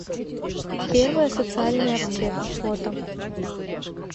первая социальная аптека фото